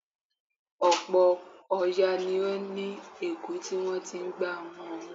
Ọ̀pọ̀̀ òòyà ni ó ní èèkú tí wọ́n ti ń gbá wọn mú.